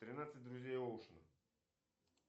тринадцать друзей оушена